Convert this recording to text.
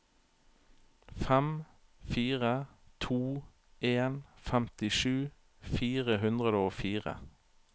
fem fire to en femtisju fire hundre og fire